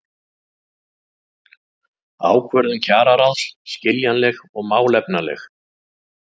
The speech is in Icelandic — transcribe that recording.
Ákvörðun kjararáðs skiljanleg og málefnaleg